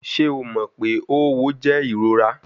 Ṣe o mọ pe õwo jẹ irora?